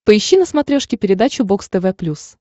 поищи на смотрешке передачу бокс тв плюс